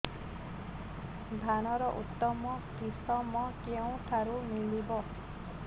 ଧାନର ଉତ୍ତମ କିଶମ କେଉଁଠାରୁ ମିଳିବ